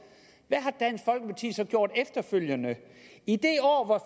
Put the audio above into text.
hvad gjorde efterfølgende i det år hvor